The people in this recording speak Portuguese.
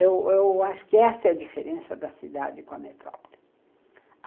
Eu eu acho que essa é a diferença da cidade com a metrópole.